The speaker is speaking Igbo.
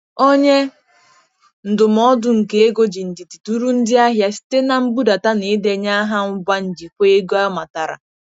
Onye ndụmọdụ nke ego ji ndidi duru ndị ahịa site na mbudata na ịdenye aha ngwa njikwa ego amatara.